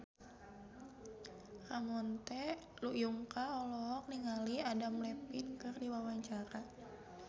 Ramon T. Yungka olohok ningali Adam Levine keur diwawancara